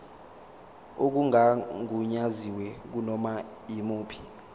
okungagunyaziwe kunoma yimuphi